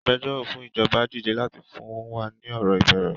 Agbẹjọ́rò fún ìjọba dìde láti fún wa ni ọ̀rọ̀ ìbẹ̀rẹ̀